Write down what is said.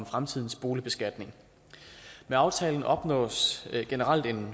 fremtidens boligbeskatning med aftalen opnås generelt en